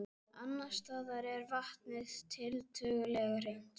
Annars staðar er vatnið tiltölulega hreint.